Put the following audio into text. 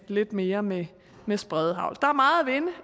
lidt mere med med spredehagl der er meget